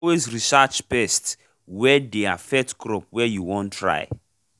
always research pests wy dey affect crop wey you won try